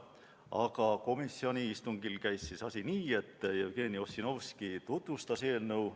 Aga komisjoni istungil käis asi nii, et Jevgeni Ossinovski tutvustas eelnõu.